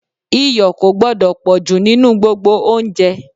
iyọ̀ kò gbọ́dọ̀ pọ̀jù nínú gbogbo oúnjẹ